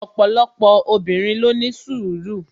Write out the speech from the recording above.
opolopo obinrin lo ni sùru